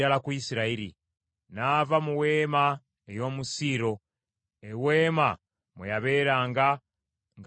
N’ava mu weema ey’omu Siiro , eweema mwe yabeeranga ng’ali mu bantu be.